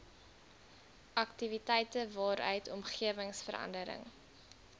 aktiwiteite waaruit omgewingsverandering